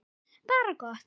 Bara gott.